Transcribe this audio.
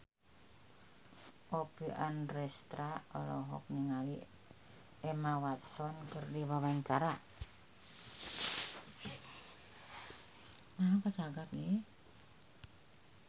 Oppie Andaresta olohok ningali Emma Watson keur diwawancara